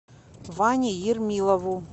ване ермилову